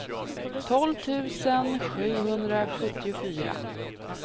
tolv tusen sjuhundrasjuttiofyra